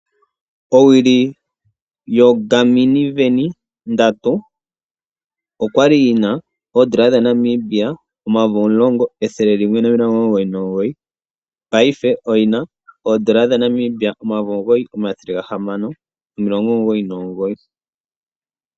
Owuli yoGarmin Venu ndatu, oyatulwa miipindi kombaanga yaFNB . Ondando oyili yagwa okuza poondola omayovi omulongo ethele limwe nomilongo omugoyi nomugoyi ndongo omayovi omugoyi omathele gahamano nomilongo omugoyi nomugoyi.